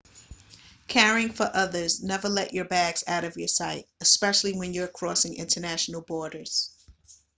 carrying for others never let your bags out of your sight especially when you are crossing international borders